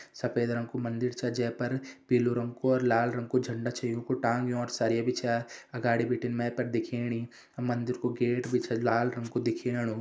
सफ़ेद रंग कु मंदिर छा जे पर पीलू रंग कु और लाल रंग कु झंडा छ योंकु टांग्योण सरिया भी छा अगाड़ी बिटिन मेपर दिख्येणी मंदिर कु गेट भी छ लाल रंग कु दिख्येणु।